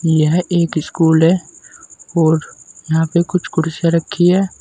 यह एक स्कूल है और यहाँ पे कुछ कुर्सियाँ रखी हैं।